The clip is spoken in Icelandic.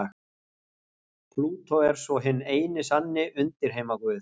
Plútó er svo hinn eini sanni undirheimaguð.